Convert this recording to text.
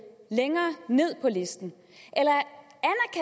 længere ned på listen